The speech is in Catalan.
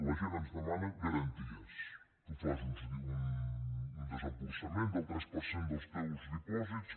la gent ens demana garanties tu fas un desemborsament del tres per cent dels teus dipòsits